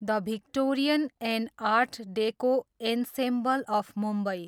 the Victorian and art deco ensemble of Mumbai